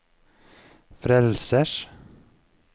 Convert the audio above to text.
frelsers